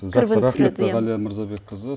жақсы рахмет ғалия мырзабекқызы